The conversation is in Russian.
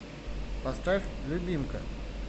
поставь любимка